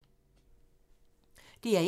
DR1